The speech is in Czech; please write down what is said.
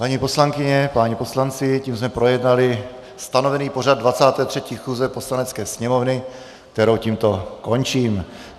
Paní poslankyně, páni poslanci, tím jsme projednali stanovený pořad 23. schůze Poslanecké sněmovny, kterou tímto končím.